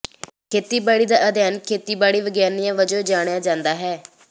ਖੇਤੀਬਾੜੀ ਦਾ ਅਧਿਐਨ ਖੇਤੀਬਾੜੀ ਵਿਗਿਆਨ ਵਜੋਂ ਜਾਣਿਆ ਜਾਂਦਾ ਹੈ